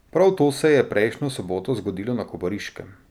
Prav to se je prejšnjo soboto zgodilo na Kobariškem.